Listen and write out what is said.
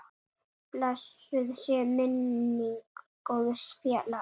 Blessuð sé minning góðs félaga.